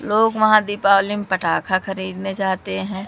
लोग वहां दीपावली में पटाखा खरीदने जाते हैं।